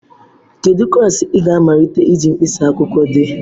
Kedu klaasị ị ga-amalite iji mkpịsị akwụkwọ dee?